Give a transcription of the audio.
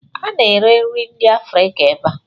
A na-ere nri ndị Afrịka ebe a?